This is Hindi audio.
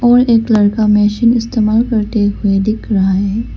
और एक लड़का मशीन इस्तेमाल करते हुए दिख रहा है।